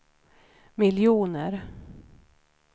miljoner